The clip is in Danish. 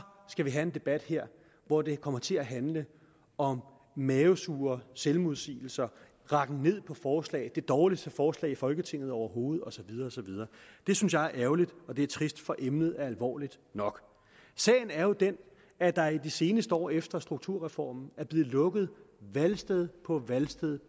skal vi have en debat her hvor det kommer til at handle om mavesure selvmodsigelser rakken ned på forslag det dårligste forslag i folketinget overhovedet og så videre og så videre det synes jeg er ærgerligt og det er trist for emnet er alvorligt nok sagen er jo den at der i de seneste år efter strukturreformen er blevet lukket valgsted på valgsted